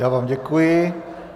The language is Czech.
Já vám děkuji.